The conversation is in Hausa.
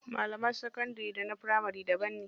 Malaman sakandari da na firamari daban ne.